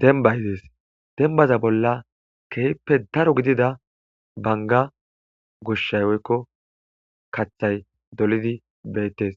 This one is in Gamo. denbay dees dembaza bolla keeppe daro gidida banga goshshay woykko kathay dolidi beettes